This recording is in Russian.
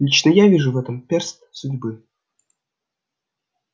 лично я вижу в этом перст судьбы